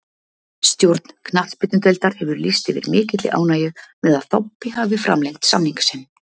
Stjórn knattspyrnudeildar hefur lýst yfir mikilli ánægju með að Þobbi hafi framlengt samning sinn.